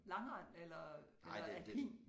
Langrend eller eller alpin